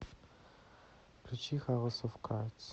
включи хаус оф кардс